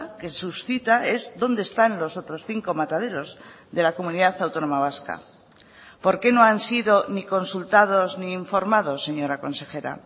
que suscita es dónde están los otros cinco mataderos de la comunidad autónoma vasca por qué no han sido ni consultados ni informados señora consejera